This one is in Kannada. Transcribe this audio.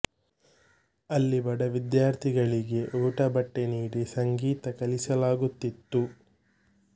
ಅಲ್ಲಿ ಬಡ ವಿದ್ಯಾರ್ಥಿಗಳಿಗೆ ಊಟ ಬಟ್ಟೆ ನೀಡಿ ಸಂಗೀತ ಕಲಿಸಲಾಗುತಿತ್ತು